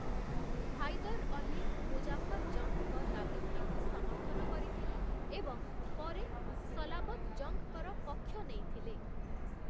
ହାଇଦର୍ ଅଲୀ, ମୁଜାଫର୍ ଜଙ୍ଗ୍‌ଙ୍କ ଦାବିଗୁଡ଼ିକୁ ସମର୍ଥନ କରିଥିଲେ ଏବଂ ପରେ ସଲାବତ୍ ଜଙ୍ଗ୍‌ଙ୍କର ପକ୍ଷ ନେଇଥିଲେ ।